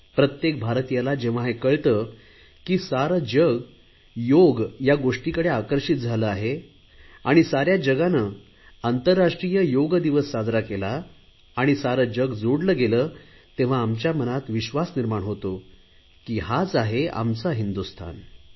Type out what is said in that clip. प्रत्येक भारतीयाला जेव्हा हे कळते की सारे जण योग या गोष्टीकडे आकर्षित झाले आहे आणि साऱ्या जगाने आंतरराष्ट्रीय योग दिवस साजरा केला आणि सारे जग जोडले गेले तेव्हा आमच्या मनात विश्वास निर्माण होतो की हाच आमचा हिंदुस्थान